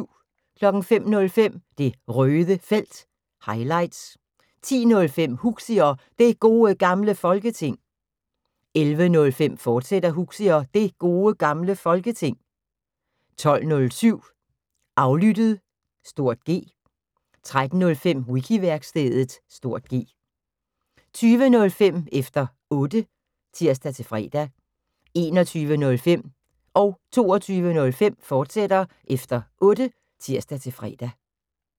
05:05: Det Røde Felt – highlights 10:05: Huxi og Det Gode Gamle Folketing 11:05: Huxi og Det Gode Gamle Folketing, fortsat 12:07: Aflyttet (G) 13:05: Wiki-værkstedet (G) 20:05: Efter Otte (tir-fre) 21:05: Efter Otte, fortsat (tir-fre) 22:05: Efter Otte, fortsat (tir-fre)